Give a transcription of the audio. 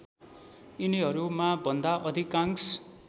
यिनीहरूमा भन्दा अधिकांश